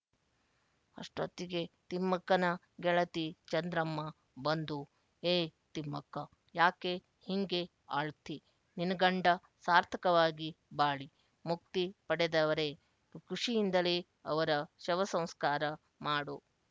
ಅಷ್ಟೊತ್ತಿಗೆ ತಿಮ್ಮಕ್ಕನ ಗೆಳತಿ ಚಂದ್ರಮ್ಮ ಬಂದು ಏ ತಿಮ್ಮಕ್ಕ ಯಾಕೆ ಹಿಂಗೆ ಆಳ್ತಿ ನಿನ್ಗಂಡ ಸಾರ್ಥಕವಾಗಿ ಬಾಳಿ ಮುಕ್ತಿ ಪಡೆದವರೆ ಖುಷಿಯಿಂದಲೇ ಅವರ ಶವಸಂಸ್ಕಾರ ಮಾಡು